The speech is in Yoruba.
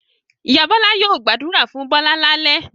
Ìyá Bọ́lá yóò gbàdúrà fún Bọ́lá lálẹ́.